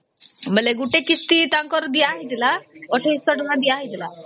ବୋଇଲେ ଗୋଟେ କିସ୍ତି ତାଙ୍କର ଦିଆ ହେଇଥିଲା ୨୮୦୦ ଟଙ୍କା ଦିଆ ହେଇଥିଲା